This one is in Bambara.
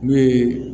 Ne ye